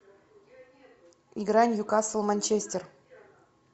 игра ньюкасл манчестер